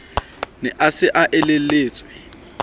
ne a se a elelletswe